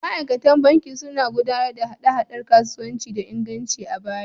Ma’aikatan banki sun gudanar da hada-hadar kasuwanci da inganci a baya.